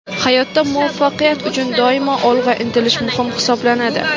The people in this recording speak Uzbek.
Hayotda muvaffaqiyat uchun doimo olg‘a intilish muhim hisoblanadi.